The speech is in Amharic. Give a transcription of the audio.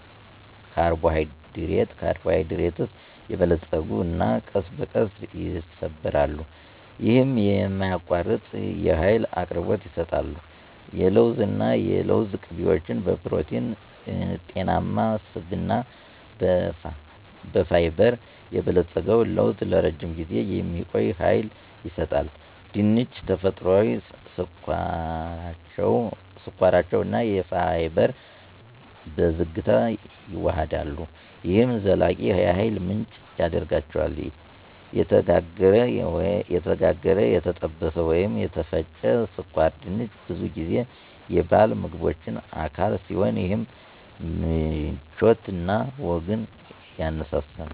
ካርቦሃይድሬትስ የበለፀጉ እና ቀስ በቀስ ይሰበራሉ። ይህም የማያቋርጥ የኃይል አቅርቦት ይሰጣሉ። የለውዝ እና የለውዝ ቅቤዎች በፕሮቲን፣ በጤናማ ስብ እና በፋይበር የበለጸገው ለውዝ ለረጅም ጊዜ የሚቆይ ሃይል ይሰጣል። ድንች -ተፈጥሯዊ ስኳራቸው እና ፋይበር በዝግታ ይዋሃዳሉ፣ ይህም ዘላቂ የኃይል ምንጭ ያደርጋቸዋል። የተጋገረ፣ የተጠበሰ ወይም የተፈጨ ስኳር ድንች ብዙ ጊዜ የበዓል ምግቦች አካል ሲሆን ይህም ምቾት እና ወግን ያነሳሳል።